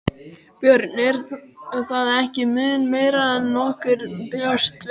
Björn: Er það ekki mun meira en nokkur bjóst við?